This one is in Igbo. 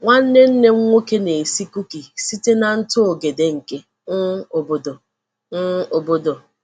Nwa Nwanne nna m nwoke na-esi kuki site na ntụ ogede nke um obodo. um obodo.